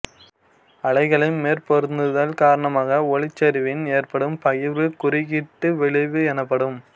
அலைகளின் மேற்பொருந்துதல் காரணமாக ஒளிச்செறிவில் ஏற்படும் பகிர்வு குறுக்கீட்டு விளைவு எனப்படும்